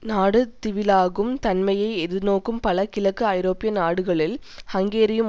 நாடு திவிலாகும் தன்மையை எதிர்நோக்கும் பல கிழக்கு ஐரோப்பிய நாடுகளில் ஹங்கேரியும்